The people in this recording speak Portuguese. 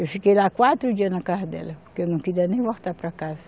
Eu fiquei lá quatro dias na casa dela, porque eu não queria nem voltar para casa.